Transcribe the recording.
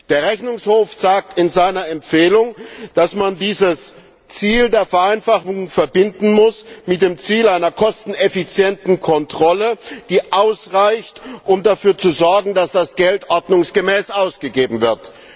Der Rechnungshof sagt in seiner Empfehlung, dass man dieses Ziel der Vereinfachung mit dem Ziel einer kosteneffizienten Kontrolle verbinden muss, die ausreicht, um dafür zu sorgen, dass das Geld ordnungsgemäß ausgegeben wird.